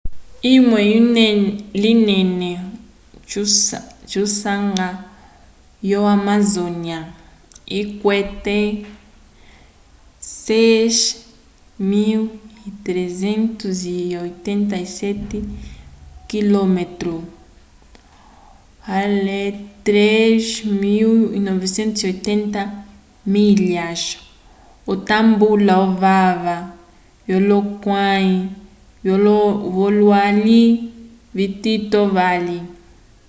olwi linene tusanga vo-amazônia ikwete 6.387 km 3.980 milhasw otambula ovava vyolohulukãyi vyololwi vitito vali